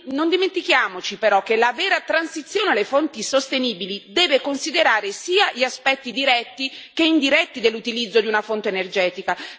Non dimentichiamoci, però, che la vera transizione alle fonti sostenibili deve considerare sia gli aspetti diretti sia indiretti dell'utilizzo di una fonte energetica.